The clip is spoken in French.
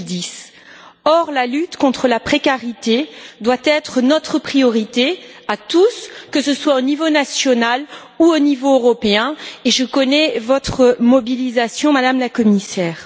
2010. Or, la lutte contre la précarité doit être notre priorité à tous, que ce soit au niveau national ou au niveau européen, et je connais votre mobilisation, Madame la Commissaire.